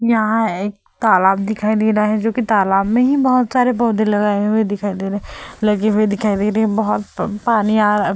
यहाँ एक तालाब दिखाई दे रहा है जो कि तालाब में ही बहोत सारे पौधे लगाए हुए दिखाई दे रहे है। लगे हुए दिखाई दे रहे है। बहोत प पानी आ रहा --